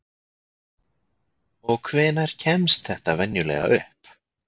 Og hvenær kemst þetta venjulega upp?